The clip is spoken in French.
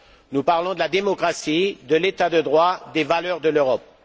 Nous parlons de la démocratie, de l'état de droit, des valeurs de l'Europe.